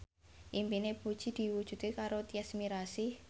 impine Puji diwujudke karo Tyas Mirasih